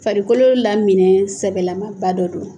Farikolo laminɛn sɛbɛlamaba dɔ don.